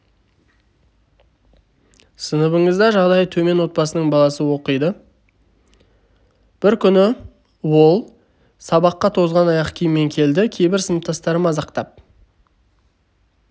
сыныбыңызда жағдайы төмен отбасының баласы оқиды бір күні ол сабаққа тозған аяқ киіммен келді кейбір сыныптастары мазақтап